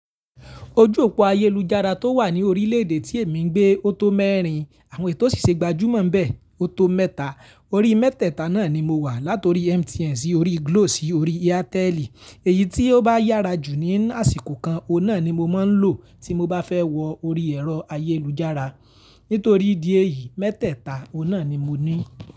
Ojú òpó ayélujára tó wà ní orílẹ̀ èdè tí èmi ń gbé ó tó mẹ́rin, àwọn èyi tò sì ṣe gbajúmọ̀ n bẹ̀ ó tó mẹ́ta. Orí mẹ́tẹ̀ẹ̀ta náà ni mo wà, láti orí MTN sí orí Glo sí orí Airtel. Èyí tí ó bá yára jù ní àsìkò kan, ọ̀un naà ni mo máa ń lò tí mo bá fẹ́ wọ orí ẹ̀rọ ayélujára. Nítorí idí ẹ̀yí, mẹ́tẹ̀ẹ̀ta ọ̀un naà ni mo ní.